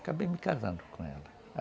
Acabei me casando com ela.